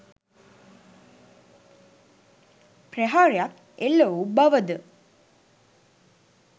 ප්‍රහාරයක් එල්ල වූ බවද